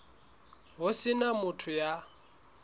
ho se na motho ya